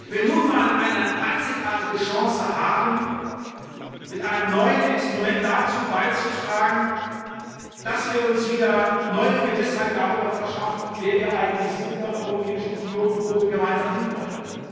wir nunmal eine einzigartige Chance haben, mit einem neuen Instrument dazu beizutragen, dass wir uns wieder neue Gewissheit darüber verschaffen, wer wir eigentlich sind in der Europäischen Union und wo wir gemeinsam hinwollen.